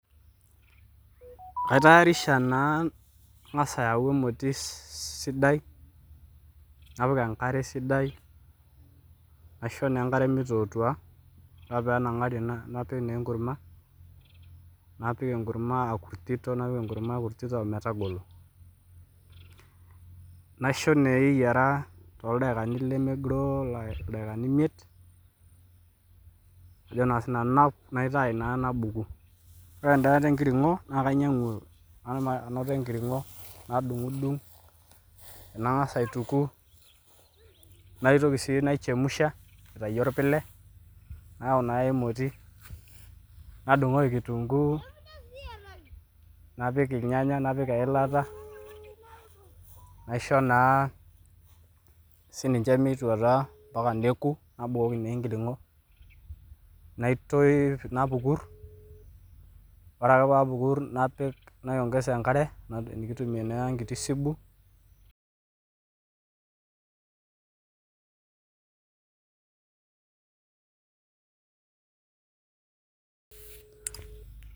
Kaitayarisha naa angas ayau emoti sidai, napik enkare sidai, naish naa enkare meitootuaa, oree ake peenang'atri napik naa enkurumwa, naoika enkurumwa akurtito napik enkurumwa akurtito metagolo, naisho naa eyara too ldakikani lemegiroo ldakikani imiet ajo naa sii nanu naitayu naa nabuku, ore endaata enkiring'o naa kainyang'u enkiring'o nadung'dung' nang'as aituku naitoki sii naichemusha aitayu olpile, nayau naa emoti, nadung'oki enkitunguu napik ilnyanya napik eilata naishoo naa sii ninche meitotua mpaka nekuu nabukoki na enkiring'o naitei napukur, ore ake paapukur napik naiongesa enkare nikitumie naa enkiti subuu.